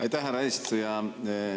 Aitäh, härra eesistuja!